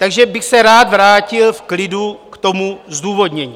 Takže bych se rád vrátil v klidu k tomu zdůvodnění.